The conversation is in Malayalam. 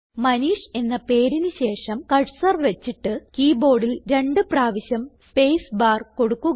മനീഷ് എന്ന പേരിന് ശേഷം കർസർ വച്ചിട്ട് കീ ബോർഡിൽ രണ്ട് പ്രാവശ്യം സ്പേസ്ബാർ കൊടുക്കുക